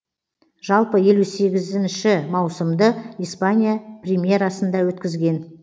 жалпы елу сегізінші маусымды испания примерасында өткізген